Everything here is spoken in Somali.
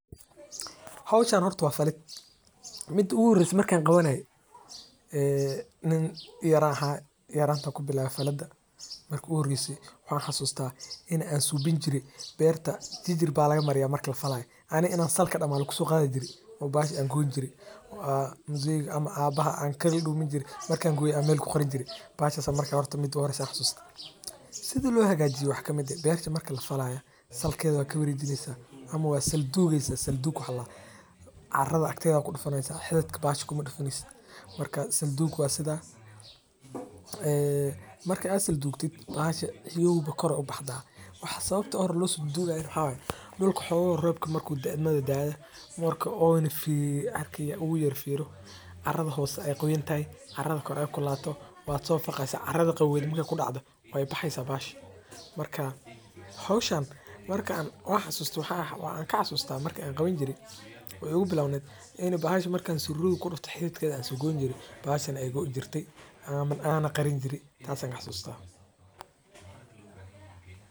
Howshan horta waa falid marki iigu horeyse marki aan qabanaaye oo ah waxeey ledahay faaidoyin badan oo somaliyeed ayaa laga helaa hilib mida kowaad waa daqtarka dadka sacideyni haayo waxaa kamid ah in la helo sir fudud loo nadiifin Karo waa inuu haysto aqoonsi waxaa sido kale salad waxaa lagu daraa nyanya lajarjaray boosha waxaa waye sida.